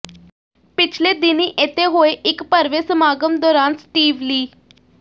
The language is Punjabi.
ਪਿਛਲੇ ਦਿਨੀਂ ਇਥੇ ਹੋਏ ਇਕ ਭਰਵੇਂ ਸਮਾਗਮ ਦੌਰਾਨ ਸਟੀਵ ਲੀ